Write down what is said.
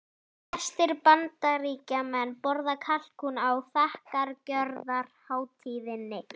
Flestir Bandaríkjamenn borða kalkún á þakkargjörðarhátíðinni.